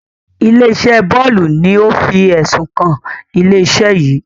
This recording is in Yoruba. Ilé-iṣẹ́ Bólú ni ó ń fi ẹ̀sùn kan ilé-iṣẹ́ yìí.